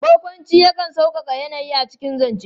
Barƙwanci yakan sauƙaƙa yanayi a cikin zance.